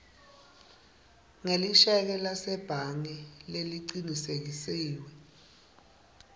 ngelisheke lasebhange lelicinisekisiwe